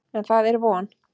En, það er von!